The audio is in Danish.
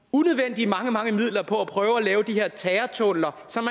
unødvendigt mange mange midler på at prøve at lave de her terrortunneller som